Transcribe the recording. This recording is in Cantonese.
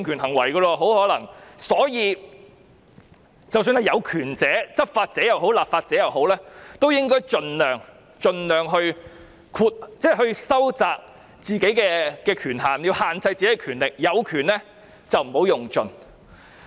因此，有權者——不論是執法者或立法者——應該盡量收窄自己的權限，要限制自己的權力，有權不要用盡。